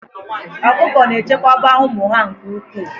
Ọkụkọ na-echekwaba ụmụ ha nke ukwuu